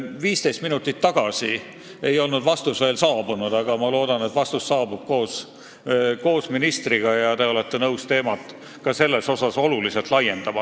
15 minutit tagasi ei olnud vastus veel saabunud, aga ma loodan, et see saabub koos ministriga ja te olete nõus teemat selle võrra oluliselt laiendama.